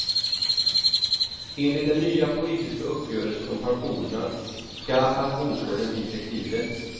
Enligt den nya politiska uppgörelsen om pensionerna ska pensionsåldern bli flexibel.